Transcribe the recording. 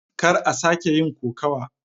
Kar a sake yin kokawa.